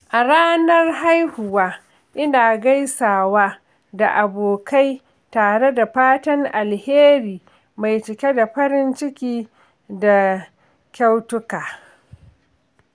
A ranar haihuwa, ina gaisawa da abokai tare da fatan alheri mai cike da farin ciki da kyautuka.